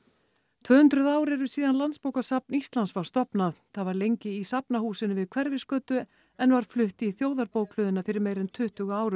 tvö hundruð ár eru síðan Landsbókasafn Íslands var stofnað það var lengi í Safnahúsinu við Hverfisgötu en var flutt í Þjóðarbókhlöðuna fyrir meira en tuttugu árum